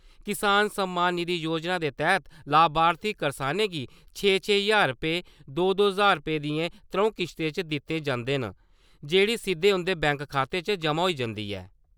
किसान सम्मान निधि योजना दे तैह्त लाभार्थी करसानें गी छे-छे ज्हार रपेऽ , दो-दो ज्हार रपेऽ दियें त्रौं किस्तें च दित्ते जिंदे च जेह्ड़ी सिद्दे उं'दे बैंक खातें च जमां होई जंदी ऐ ।